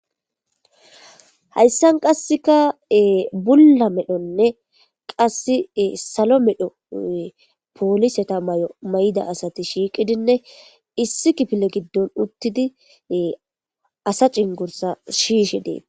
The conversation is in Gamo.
Hayssan qassikka bulla medhonne qassi salo medho polisetha mayo maayidaasathi shiiqidinne issi kifle giddon uththidi asa cenggurssaa siyishe dee.